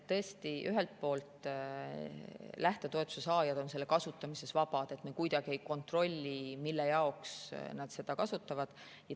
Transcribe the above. Tõesti, ühelt poolt on lähtetoetuse saajad selle kasutamisel vabad, me kuidagi ei kontrolli, mille jaoks nad seda kasutavad.